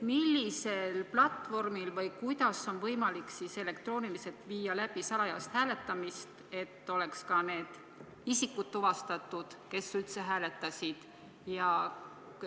Millisel platvormil või kuidas on võimalik elektrooniliselt läbi viia salajast hääletamist, nii et oleks tuvastatavad need isikud, kes üldse hääletasid?